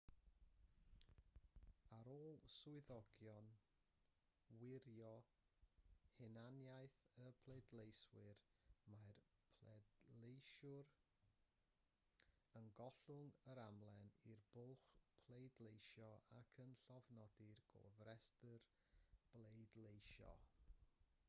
ar ôl i swyddogion wirio hunaniaeth y pleidleisiwr mae'r pleidleisiwr yn gollwng yr amlen i'r blwch pleidleisio ac yn llofnodi'r gofrestr bleidleisio